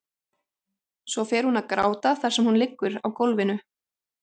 Svo fer hún að gráta þar sem hún liggur á gólfinu.